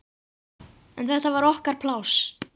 En þetta var okkar pláss.